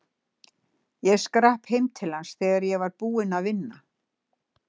Ég skrapp heim til hans þegar ég var búinn að vinna.